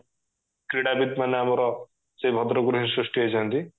କ୍ରୀଡାବିତ ମାନେ ଆମର ସେଇ ଭଦ୍ରକ ରୁ ହିଁ ସୃଷ୍ଟି ହେଇଛନ୍ତି